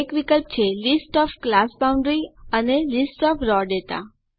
એક વિકલ્પ છે લિસ્ટ ઓએફ ક્લાસ બાઉન્ડરીઝ અને લિસ્ટ ઓએફ રાવ દાતા